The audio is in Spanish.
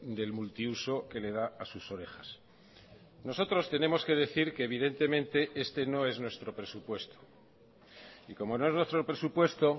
del multiuso que le da a sus orejas nosotros tenemos que decir que evidentemente este no es nuestro presupuesto y como no es nuestro presupuesto